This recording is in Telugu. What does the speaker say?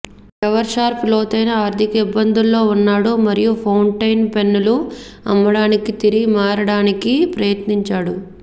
ఎవర్షార్ప్ లోతైన ఆర్ధిక ఇబ్బందుల్లో ఉన్నాడు మరియు ఫౌంటైన్ పెన్నులు అమ్మడానికి తిరిగి మారడానికి ప్రయత్నించాడు